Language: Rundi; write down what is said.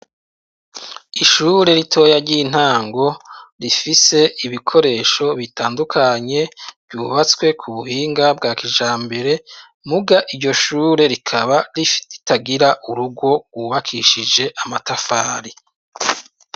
Ishure ritoya ry'intango rifise ibikoresho bitandukanye, ryubatswe kubuhinga bwa kijambere ,muga iryo shure rikaba rifi ritagira urugo rwubakishije amatafari.